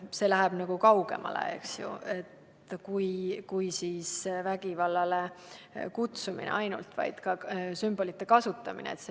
See läheb kaugemale kui vägivallale kutsumise.